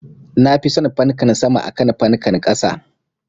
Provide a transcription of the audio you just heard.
Nafi son fankan sama akan fankan ƙasa